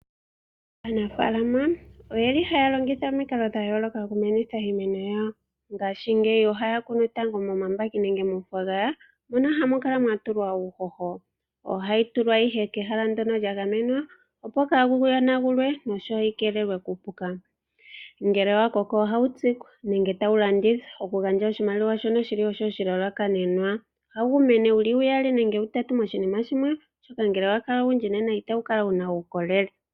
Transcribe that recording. Aanafaalama oye li haya longitha omikalo dhayooloka dhokumeneka iimeno yawo. Ohaya kunu momambaki nayilwe, mono hamu kala mwatulwa uuhoho . Ohayi tulwa nduno kehala lyagamena opo kaayi yonagulwe noyi keelele kuupuka. Ngele wakoko ohawu tsikwa nenge tawu landithwa naashino ohashi eta iiyemo poshitaafula, shoka shili oshilalakanenwa . Ohawu mene wuli uyali nenge utatu mokakwatelwa kamwe, oshoka ngele owalala owundji otawu kala wuna uukolele.